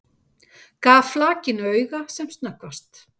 Gaf flakinu auga sem snöggvast.